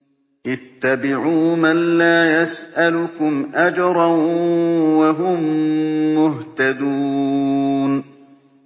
اتَّبِعُوا مَن لَّا يَسْأَلُكُمْ أَجْرًا وَهُم مُّهْتَدُونَ